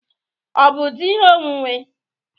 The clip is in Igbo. Ọ bụ di ihe onwunwe?